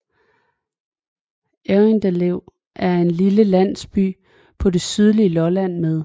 Errindlev er en lille landsby på det sydlige Lolland med